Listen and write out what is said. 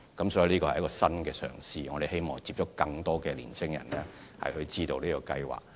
這是政府的一項新嘗試，希望接觸更多年青人，讓他們知道這項計劃。